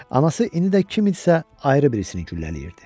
Anası indi də kim idisə ayrı birisini güllələyirdi.